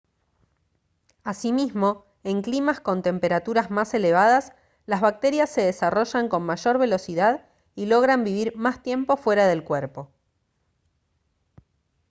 asimismo en climas con temperaturas más elevadas las bacterias se desarrollan con mayor velocidad y logran vivir más tiempo fuera del cuerpo